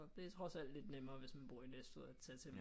Det er trods alt lidt nemmere hvis man bor i Næstved at tage til